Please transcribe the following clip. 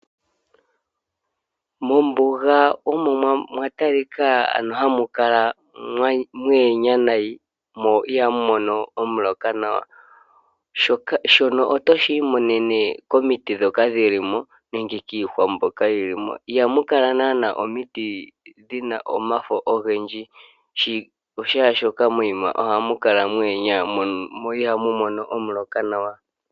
Mombuga omo mwa talika hamu kala mwa pupyala noonkondo noihamu mono omuloka gwa gwana nawa. Shoka otoshi imonene komiti ndhoka dhi li mo nenge kiihwa mbyoka yi li mo. Ihamu kala nando omiti dhi na omafo ogendji, oshoka ohamu kala mwa pupyala mo ihamu mono omuloka nawa.